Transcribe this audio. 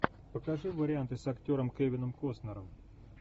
покажи варианты с актером кевином костнером